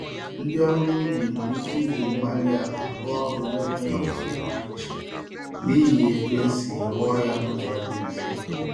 Ndị ọrụ ubi nwere ike iji Igwe-mgbárí-ala rụọ ọrụ nenweghi ọzụzụ pụrụ iche, n'ihi otú esi rụọ ya nụzọ dị mfe